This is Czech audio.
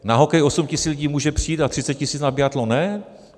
Na hokej 8 tisíc lidí může přijít a 30 tisíc na biatlon ne?